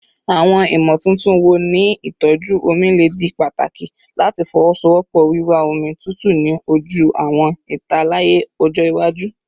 Awọn imotuntun wo ni itọju omi le di pataki lati fowosowopo wiwa omi tutu ni oju awọn italaya ọjọ iwaju?